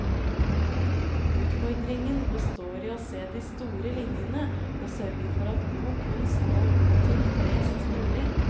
Utfordringen består i å se de store linjene og sørge for at god kunst når ut til flest mulig.